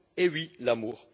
Eh oui, l'amour!